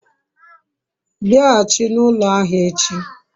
biaghachi na ulo ahia echi